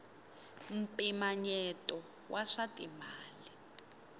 mpimanyeto wa swa timali